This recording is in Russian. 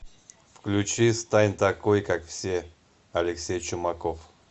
включи стань такой как все алексей чумаков